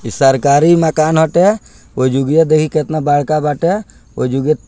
सरकारी मकान हटे ओजोगिया देखी केतना बड़का बाटे ओजोगिया --